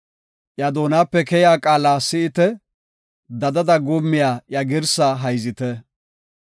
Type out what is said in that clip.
Iya doonape keyiya qaala si7ite; dadada guummiya iya girsaa hayzite.